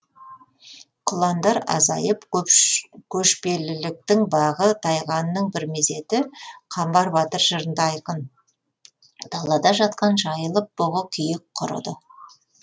құландар азайып көшпеліліктің бағы тайғанының бір мезеті қамбар батыр жырында айқын далада жатқан жайылып бұғы киік құрыды